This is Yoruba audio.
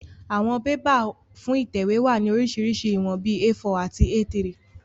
Àwọn bébà fún ìtẹ̀wé wá ní oríṣiríṣi ìwọ̀n bíi A4 àti A3